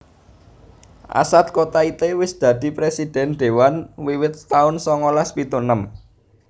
Assad Kotaite wis dadi Presidhèn Dewan wiwit taun songolas pitu enem